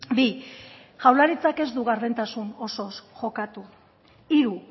bi jaurlaritzak ez du gardentasun osoz jokatu hiru